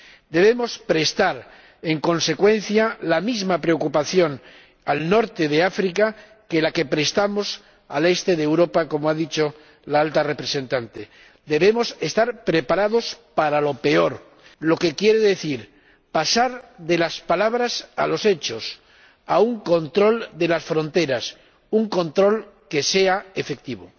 Debemos prestar, en consecuencia, la misma preocupación al norte de África que la que prestamos al este de Europa, como ha dicho la Alta Representante. Debemos estar preparados para lo peor, lo que quiere decir pasar de las palabras a los hechos, a un control de las fronteras, un control que sea efectivo.